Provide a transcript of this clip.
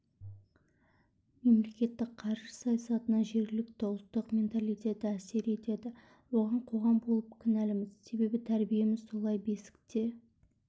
мемлекеттің қаржы саясатына жергілікті ұлттың менталитеті әсер етеді оған қоғам болып кінәліміз себебі тәрбиеміз солай бесікте